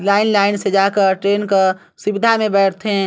Line line से जाकर train का सिब्दा मे बैठ थे।